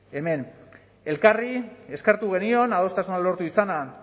hemen elkarri eskertu genion adostasuna lortu izana